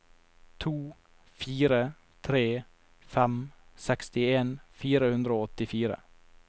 to fire tre fem sekstien fire hundre og åttifire